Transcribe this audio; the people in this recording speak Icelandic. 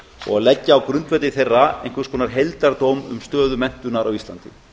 og leggja á grundvelli þeirra einhvers konar heildardóm um stöðu menntunar á íslandi